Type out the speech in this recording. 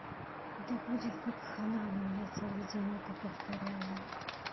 да будет вакханалия я целый день это повторяю